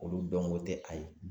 Olu dɔnko tɛ a ye